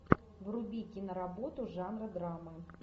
вруби киноработу жанра драмы